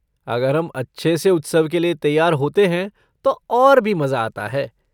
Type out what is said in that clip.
अगर हम अच्छे से उत्सव के लिए तैयार होते हैं तो और भी मज़ा आता है।